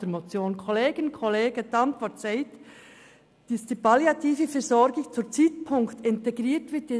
Gemäss Antwort soll die palliative Versorgung in die Palliativpflege von Erwachsenen integriert werden.